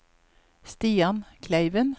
Stian Kleiven